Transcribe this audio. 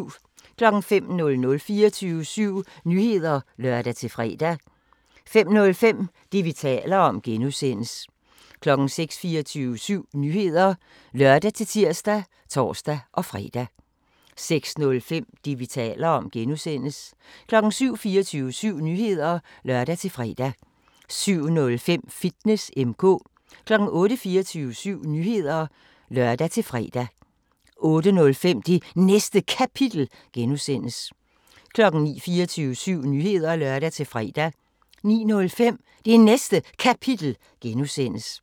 05:00: 24syv Nyheder (lør-fre) 05:05: Det, vi taler om (G) 06:00: 24syv Nyheder (lør-tir og tor-fre) 06:05: Det, vi taler om (G) 07:00: 24syv Nyheder (lør-fre) 07:05: Fitness M/K 08:00: 24syv Nyheder (lør-fre) 08:05: Det Næste Kapitel (G) 09:00: 24syv Nyheder (lør-fre) 09:05: Det Næste Kapitel (G)